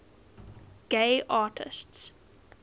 gay artists